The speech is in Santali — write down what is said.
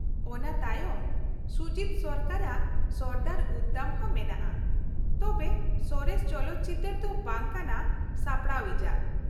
ᱚᱱᱟ ᱛᱟᱭᱚᱢ ᱥᱩᱡᱤᱛ ᱥᱚᱨᱠᱟᱨ ᱟᱜ ᱥᱚᱨᱫᱟᱨ ᱩᱫᱫᱷᱟᱢ ᱦᱚᱸ ᱢᱮᱱᱟᱜᱼᱟ, ᱛᱚᱵᱮ ᱥᱚᱨᱮᱥ ᱪᱚᱞᱚᱛ ᱪᱤᱛᱟ.ᱨ ᱫᱚ ᱵᱟᱝ ᱠᱟᱱᱟ ᱥᱟᱯᱲᱟᱣᱤᱡ ᱟᱜ ᱾